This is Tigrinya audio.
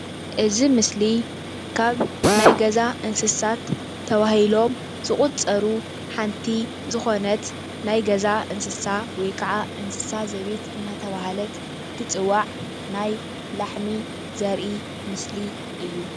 እዚ ምስሊ ካብ ናይ ገዛ እንስሳት ተባሂሎም ዝቑፀሩ ሓንቲ ዝኾነት ናይ ገዛ እንስሳ ወይ ከዓ እንስሳ ዘቤት እናተባህለት እትፅዋዕ ናይ ላሕሚ ዘርኢ ምስሊ እዩ።